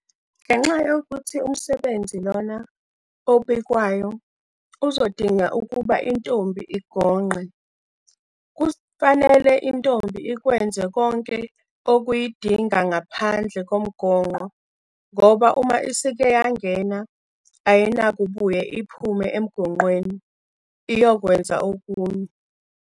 Ngenxa yokuthi umsebenzi Iona obikwayo uzodinga ukuba intombi igonqe, kufanele intombi ikwenze konke okuyidinga ngaphandle komgonqo ngoba uma isike yangena, ayinakubuye iphume emgonqweni iyokwenza okunye.